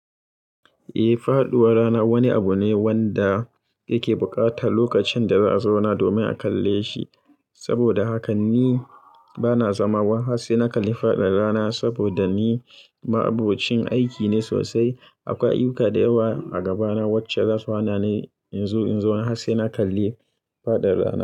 Eh, faɗuwar rana wani abu ne wanda yake buƙatar lokacin da za a zauna domin a kalle shi. Saboda haka ni bana zama wai harsai na kalli faɗin rana saboda ni ma'abocin aiki ne sosai. Akwai ayuka da yawa a gabana wacce za su hana ni in zo har sai na kalli faɗin rana.